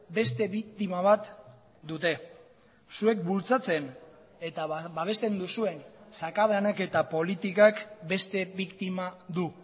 beste biktima bat dute zuek bultzatzen eta babesten duzuen sakabanaketa politikak beste biktima du